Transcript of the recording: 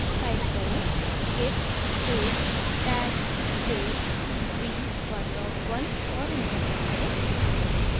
type करें: git space tag space v11 और enter दबाएँ